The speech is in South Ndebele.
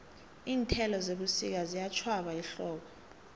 iinthelo zebusika ziyatjhwaba ehlobo